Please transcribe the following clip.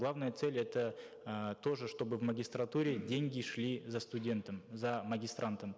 главная цель это э тоже чтобы в магистратуре деньги шли за студентом за магистрантом